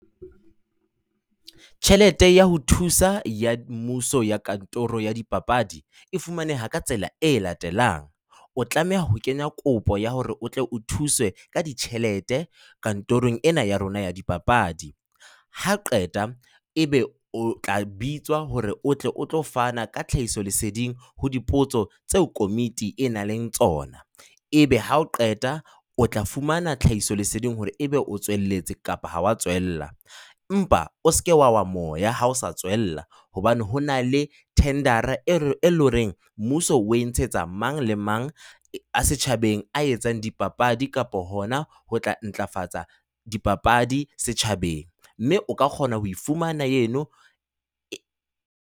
Tjhelete ya ho thusa ya mmuso ya kantoro ya dipapadi e fumaneha ka tsela e latelang. O tlameha ho kenya kopo ya hore o tle o thuswe ka ditjhelete kantorong ena ya rona ya dipapadi. Ha qeta ebe o tla bitswa hore o tle o tlo fana ka tlhahisoleseding ho dipotso tseo komiti e nang le tsona, ebe ha o qeta o tla fumana tlhahisoleseding hore ebe o tswelelletse kapa ha o a tswella. Empa o se ke wa wa moya ha o sa tswella hobane ho na le thendera eo eleng hore mmuso o e ntshetsa mang le mang ya setjhabeng a etsang dipapadi kapa hona ho tla ntlafatsa dipapadi setjhabeng, mme o ka kgona ho fumana eno .